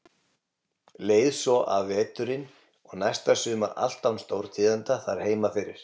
Leið svo af veturinn og næsta sumar allt án stórtíðinda þar heima fyrir.